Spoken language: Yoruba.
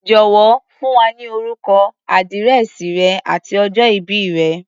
Jọ̀wọ́, fún wa ní orúkọ, àdírẹ̀sì rẹ àti ọjọ ìbí rẹ̀.